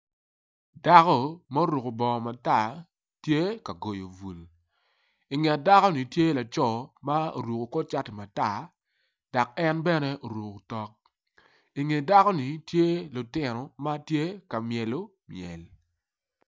Dako ma oruko bongo matar tye ka goyo bul inget dako ni tye laco ma oruko kor cati matar dok en bene oruko tok inge dakoni tye lutino matye ka myelo myel.